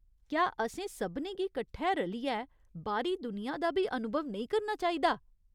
क्या असें सभनें गी कट्ठै रलियै बाह्‌री दुनिया दा बी अनुभव नेईं करना चाहिदा ?